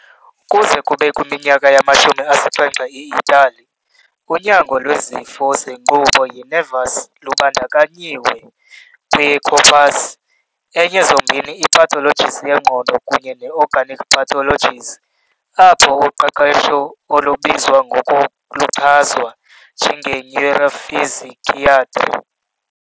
Kuze kube kwiminyaka yamashumi asixhenxe eItali, unyango lwezifo zenkqubo ye-nervous lubandakanyiwe kwi-"corpus" enye zombini i-pathologies yengqondo kunye ne-"organic" pathologies, apho uqeqesho olubizwa ngoko luchazwa njenge " neuropsychiatry ".